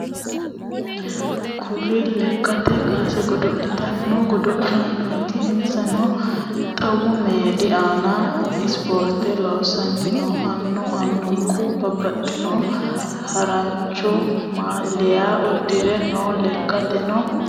Kurri lekkate kaase godolitano godolaanoti insano xawu meedi aana isipoorite loosani no. Anu anuku babaxino harrancho maaliya udidhe no lekkateno. ....